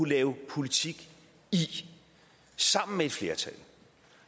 lave politik i sammen med et flertal